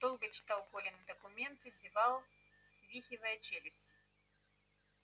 долго читал колины документы зевал свихивая челюсти